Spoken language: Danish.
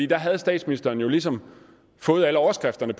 da havde statsministeren jo ligesom fået alle overskrifterne